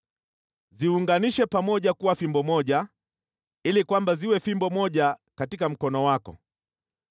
Ziunganishe pamoja kuwa fimbo moja ili kwamba ziwe fimbo moja katika mkono wako.